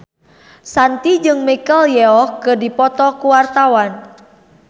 Shanti jeung Michelle Yeoh keur dipoto ku wartawan